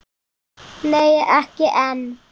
Nei, ekki enn.